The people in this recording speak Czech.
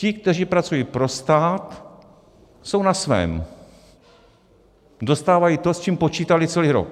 Ti, kteří pracují pro stát, jsou na svém, dostávají to, s čím počítali celý rok.